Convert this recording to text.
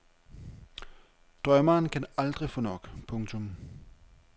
Drømmeren kan aldrig få nok. punktum